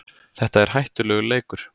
Þetta er hættulegur leikur